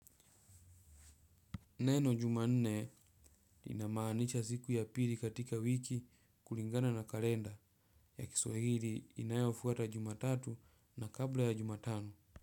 Neno juma nne inamaanisha siku ya pili katika wiki kulingana na kalenda ya kiswahili inayofuata juma tatu na kabla ya juma tano.